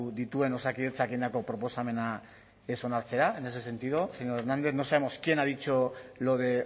dituen osakidetzak egindako proposamena ez onartzera en ese sentido señor hernández no sabemos quién ha dicho lo de